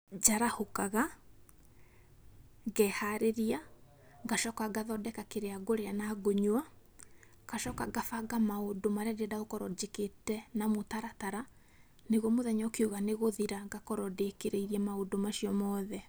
Njarahũkaga, ngeharĩria, ngacoka ngathondeka kĩrĩa ngũrĩa na ngũnyua, ngacoka ngabanga maũndũ marĩa ngwenda gũkorwo njĩkĩte na mũtaratara, nĩguo mũthenya ũkiuga nĩ gũthira, ngakorwo ndĩkĩrĩirie maũndũ macio mothe.